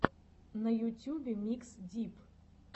на ютюбе микс дип